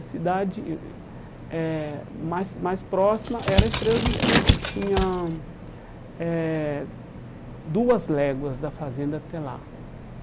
A cidade eh mais mais próxima era a Estrela do Sul, que tinha eh duas léguas da fazenda até lá.